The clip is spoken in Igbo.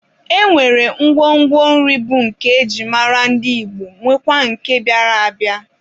E nwere ngwongwo nri bụ nke e ji mara ndị Igbo nwekwaa nke bịara abịa.